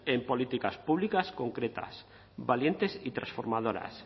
en políticas públicas concretas valientes y transformadoras